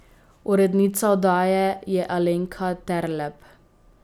Urednica oddaje je Alenka Terlep.